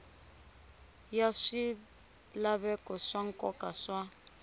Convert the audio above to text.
ya swilaveko swa nkoka swa